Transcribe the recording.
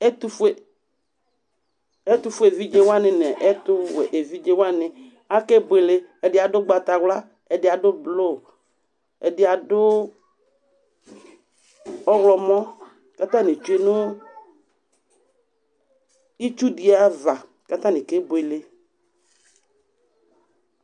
ɛtufue evidze wuani nu ɛtuwue evidze wuwni akeboele ɛdi aɖu ŋgbataxla ɛdi aɖu blue ɛdi aɖu ɔxlɔmɔ ku atni tsue nu itsudiaʋa ku atani kebuele